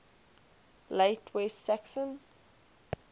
late west saxon